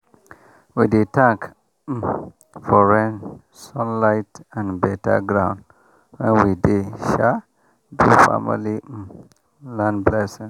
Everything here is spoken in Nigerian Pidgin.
we dey thank um for rain sun light and better ground when we dey um do family um land blessing